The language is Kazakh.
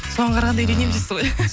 соған қарағанда үйленемін дейсіз ғой